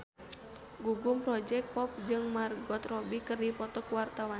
Gugum Project Pop jeung Margot Robbie keur dipoto ku wartawan